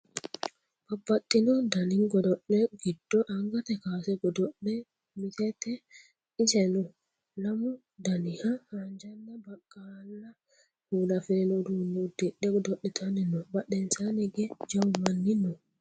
babbaxxino dani godo'le giddo angate kaase godo'le mittete iseno lamu daniha haanjanna baqqala kuula afirino uduunne udddidhe godo'litanni no badhensaanni hige jawu manni no